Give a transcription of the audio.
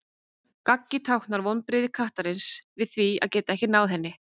gaggið táknar vonbrigði kattarins við því að geta ekki náð henni